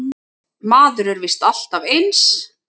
Maður er víst alltaf eins!